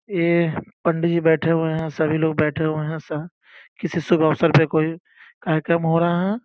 यह पंडित जी बैठे हुए हैं सभी लोग बैठे हुए हैं स किसी शुभ अवसर पे कोई कार्यक्रम हो रहा है।